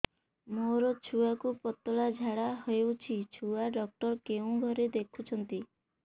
ମୋର ଛୁଆକୁ ପତଳା ଝାଡ଼ା ହେଉଛି ଛୁଆ ଡକ୍ଟର କେଉଁ ଘରେ ଦେଖୁଛନ୍ତି